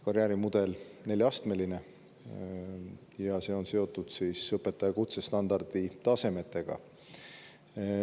Karjäärimudel on neljaastmeline ja see on seotud õpetaja kutsestandardi tasemetega.